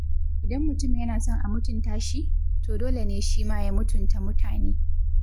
Idan mutum yana son a mutunta shi, to dole ne shima ya mutunta mutane.